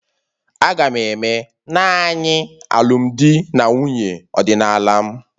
Aga'm eme naanị alụmdi na nwunye ọdịnala m